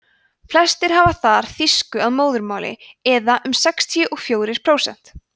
flestir hafa þar þýsku að móðurmáli eða um sextíu og fjórir prósent